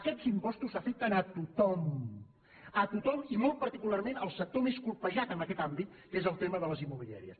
aquests impostos afecten a tothom a tothom i molt particularment al sector més colpejat en aquest àmbit que és el tema de les immobiliàries